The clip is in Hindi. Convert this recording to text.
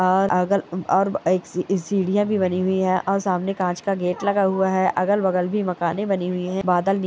और अगल और एक सी सीढ़ियां भी बनी हुई है और सामने कांच का गेट लगा हुआ है अगल बगल भी मकाने बनी हुई है बादल नी --